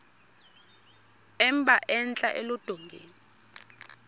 emba entla eludongeni